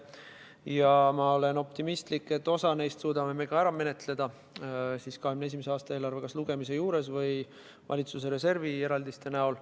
Ja ma olen optimistlik, et osa neist me suudame ka ära menetleda kas 2021. aasta eelarve lugemisel või valitsuse reservi eraldiste abil.